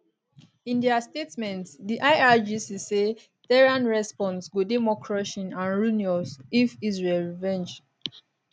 in dia statement di irgc say tehran response go dey more crushing and ruinous if israel revenge